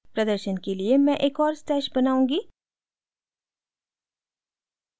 प्रदर्शन के लिए मैं एक और stash बनाऊँगी